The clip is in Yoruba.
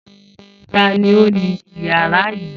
Ta ni ó ni ìyàrá yìí?